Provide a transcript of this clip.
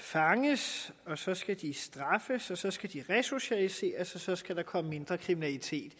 fanges så skal de straffes så skal de resocialiseres og så skal der komme mindre kriminalitet